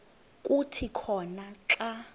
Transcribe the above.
kuthi khona xa